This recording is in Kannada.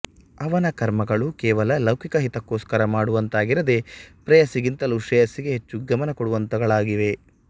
ಅವನ ಕರ್ಮಗಳು ಕೇವಲ ಲೌಕಿಕ ಹಿತಕ್ಕೋಸ್ಕರ ಮಾಡುವಂಥವಾಗಿರದೆ ಪ್ರೇಯಸ್ಸಿಗಿಂತಲೂ ಶ್ರೇಯಸ್ಸಿಗೆ ಹೆಚ್ಚು ಗಮನ ಕೊಡುವಂಥವುಗಳಾಗಿವೆ